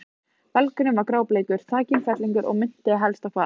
Belgurinn var grábleikur, þakinn fellingum og minnti helst á hval.